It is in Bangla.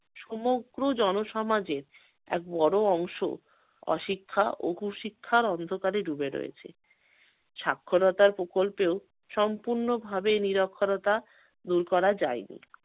সমগ্র জনসমাজের এক বড় অংশ অশিক্ষা ও কুশিক্ষার অন্ধকারে ডুবে রয়েছে। সাক্ষরতার প্রকল্পেও সম্পূর্ণভাবে নিরক্ষরতা দূর করা যায়নি।